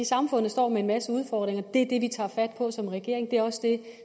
samfundet står med en masse udfordringer det er det vi tager fat på som regering det er også det